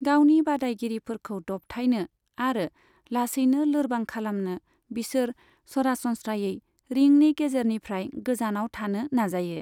गावनि बादायगिरिफोरखौ दबथायनो आरो लासैनो लोरबां खालामनो, बिसोर सरासनस्रायै रिंनि गेजेरनिफ्राय गोजानाव थानो नाजायो।